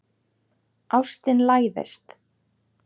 Ástin læðist.